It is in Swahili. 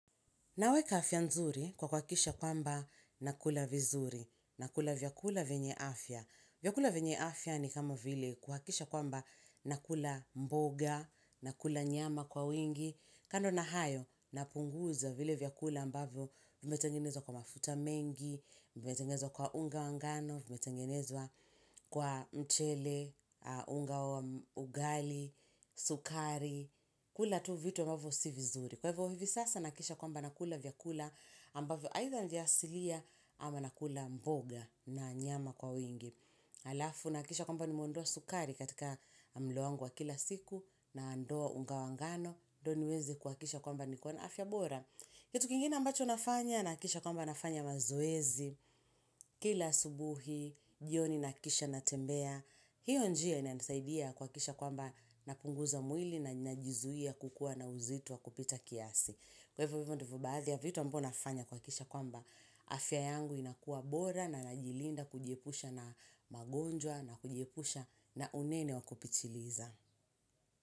Naweka afya nzuri kwa kwa kisha kwamba nakula vizuri, nakula vyakula venye afya. Vyakula venye afya ni kama vile kuhakisha kwamba nakula mboga, nakula nyama kwa wingi. Kando na hayo napunguza vile vyakula ambavyo vimetengenezwa kwa mafuta mengi, vimetengenezwa kwa unga wangano, vimetengenezwa kwa mchele, unga ugali, sukari, kula tu vitu mwavo si vizuri. Kwa hivyo hivi sasa nakisha kwamba nakula vyakula ambavyo aitha vyasilia ama nakula mboga na nyama kwa wingi. Halafu nakikisha kwamba nimeondoa sukari katika mlo wangu wa kila siku naondoa unga wangano. Doniwezi kuakisha kwamba nikona afyabora. Kitu kingine ambacho nafanya nakikisha kwamba nafanya mazoezi kila asubuhi, jioni nakisha natembea. Hiyo njia ina nisaidia kwa kisha kwamba napunguza mwili na najizuia kukua na uzito wa kupita kiasi. Kwa hivyo ndobaadhi ya vitu ambao nafanya kwa kisha kwamba afya yangu inakua bora na najilinda kujiepusha na magonjwa na kujiepusha na unene wakupitiliza.